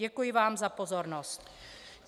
Děkuji vám za pozornost.